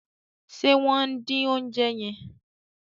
ṣe wón din oúnjẹ yen?